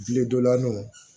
Biledonlanw